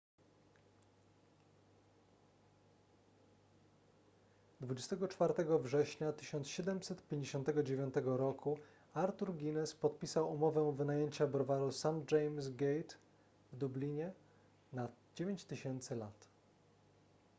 24 września 1759 roku arthur guinness podpisał umowę wynajęcia browaru st james' gate w dublinie na 9000 lat